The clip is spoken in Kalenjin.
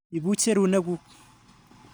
Ipuch serunek kuk.